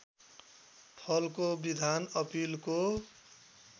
फलको विधान अपिलको